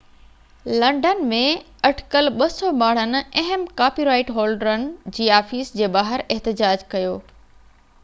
London ۾ اٽڪل 200 ماڻهن اهم ڪاپي رائيٽ هولڊرن جي آفيسن جي ٻاهر احتجاج ڪيو